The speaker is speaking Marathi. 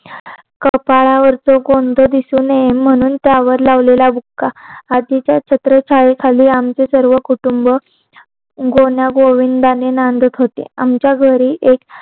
कपाळावरच्या गोंधण दिसू नये म्हणून त्यावर लावलेल्या बुक्का आजीचे छत्र छाया खाली आमचे सर्व कुटूंब गुण गोविंदाने नांदत होते आमच्या घरी एक